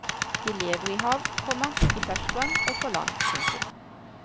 De lever i hav, komma i ferskvann og på land. punktum